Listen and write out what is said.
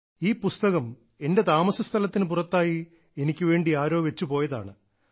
ഈ പുസ്തകം എന്റെ താമസസ്ഥലത്തിന് പുറത്തായി എനിക്ക് വേണ്ടി ആരോ വച്ച് പോയതാണ്